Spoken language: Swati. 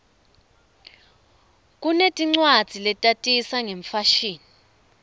kunetincwadzi letatisa ngemfashini